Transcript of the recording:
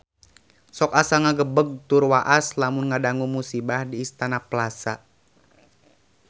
Sok asa ngagebeg tur waas lamun ngadangu musibah di Istana Plaza